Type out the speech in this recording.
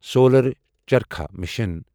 solar charkha mission